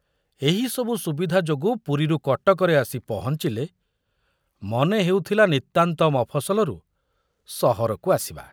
ଏହି ସବୁ ସୁବିଧା ଯୋଗୁ ପୁରୀରୁ କଟକରେ ଆସି ପହଞ୍ଚିଲେ ମନେ ହେଉଥୁଲା ନିତାନ୍ତ ମଫସଲରୁ ସହରକୁ ଆସିବା।